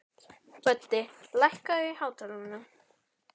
Böddi, lækkaðu í hátalaranum.